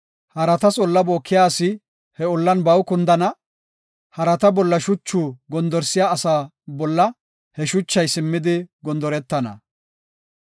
Haratas olla bookiya asi he ollan baw kundana; harata bolla shuchu gondorsiya asa bolla he shuchay simmidi gondoretana.